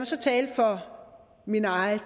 så tale for mit eget